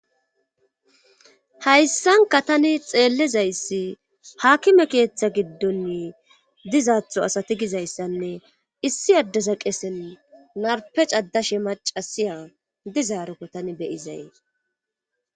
Hayssanka tani xeellizayssi haakime keeththa giddon dizaatho asati gizayssanne issi addeza qesen narpecaddashe macasiya dizaarokko tani beyizay.